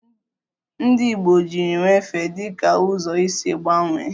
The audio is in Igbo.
Ndị Igbo jiri nwefe dị ka ụzọ isi gbanwee